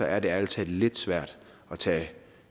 er det ærlig talt lidt svært at tage